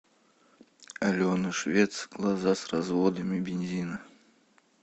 алена швец глаза с разводами бензина